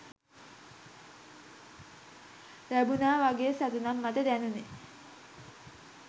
ලැබුනා වගේ සතුටක් මට දැනුනේ.